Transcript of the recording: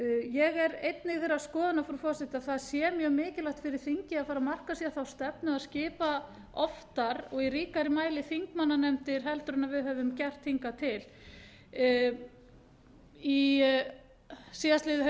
ég er einnig þeirrar skoðunar frú forseti að það sé mjög mikilvægt fyrir þingið að fara að marka sér þá stefnu að skipa oftar og í ríkari mæli þingmannanefndir en við höfum gert hingað til síðastliðið